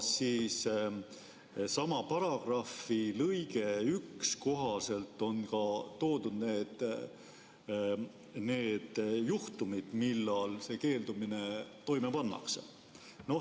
Sama paragrahvi lõikes 1 on toodud ka need juhtumid, millal see keeldumine toime pannakse.